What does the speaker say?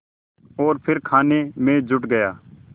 और फिर खाने में जुट गया